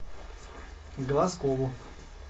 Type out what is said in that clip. глазкову